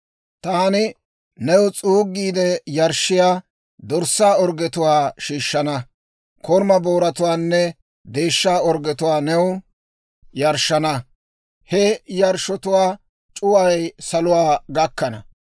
Taani new s'uuggiide yarshshiyaa, dorssaa orggetuwaa shiishshana. Koruma booratuwaanne deeshsha orggetuwaa new yarshshana; he yarshshotuwaa c'uway saluwaa gakkana.